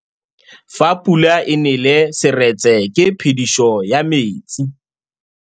Fa pula e nelê serêtsê ke phêdisô ya metsi.